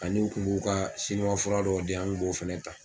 Ani n kun b'u ka sinuwa fura dɔw di yan n kun b'o fana ta.